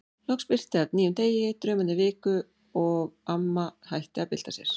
Loks birti af nýjum degi, draumarnir viku og amma hætti að bylta sér.